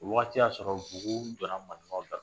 Wagati y'a sɔrɔ bunku donna marifaw la.